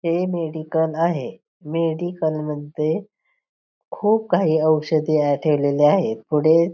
हे मेडिकल आहे मेडिकल मध्ये खुप काही औषधे ठेवलेले आहेत पुढे--